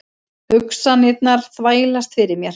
Hugsanirnar þvælast fyrir mér.